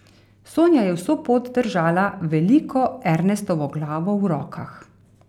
Sonja je vso pot držala veliko Ernestovo glavo v rokah.